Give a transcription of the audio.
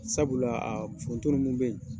Sabula a foronto munnu bɛ ye.